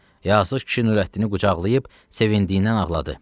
Yazıq kişi Nurəddini qucaqlayıb sevindiydən ağladı.